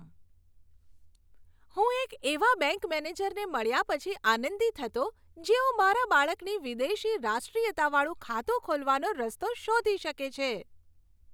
હું એક એવા બેંક મેનેજરને મળ્યા પછી આનંદિત હતો, જેઓ મારા બાળકની વિદેશી રાષ્ટ્રીયતાવાળુ ખાતું ખોલવાનો રસ્તો શોધી શકે છે.